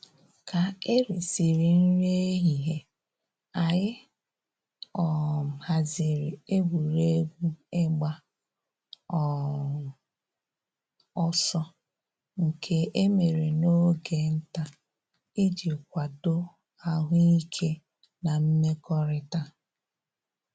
Ka e risịrị nri ehihie, anyị um haziri egwuregwu ịgba um ọsọ nke e mere n'oge nta iji kwadoo ahụ ike na mmekọrịta